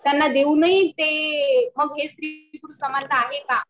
त्यांना देऊनही हे मग हे स्त्री पुरुष समानता आहे का?